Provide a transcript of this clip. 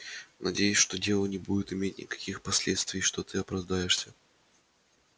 надеюсь что дело не будет иметь никаких последствий и что ты оправдаешься